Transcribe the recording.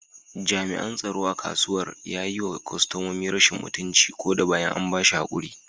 Jami’an tsaro a kasuwar ya yi wa kwastomomi rashin mutunci ko da bayan an ba shi hakuri.